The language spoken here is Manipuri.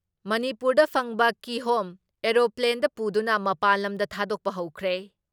ꯃꯅꯤꯄꯨꯔꯗ ꯐꯪꯕ ꯀꯤꯍꯣꯝ ꯑꯦꯔꯣꯄ꯭ꯂꯦꯟꯗ ꯄꯨꯗꯨꯅ ꯃꯄꯥꯟ ꯂꯝꯗ ꯊꯥꯗꯣꯛꯄ ꯍꯧꯈ꯭ꯔꯦ ꯫